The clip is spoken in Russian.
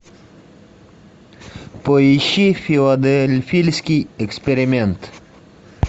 поищи филадельфийский эксперимент